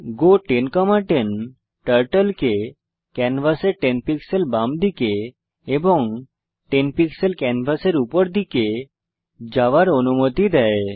গো 1010 turtle কে ক্যানভাসের 10 pixel বামদিকে এবং 10 পিক্সেল ক্যানভাসের উপর দিকে যাওয়ার অনুমতি দেয়